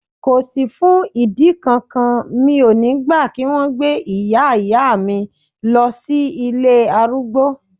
Kò sí fún ìdí kankan, mi ò ní gbà kí wón gbé Ìyá Ìyá mi lọ sí ilé arúgbó.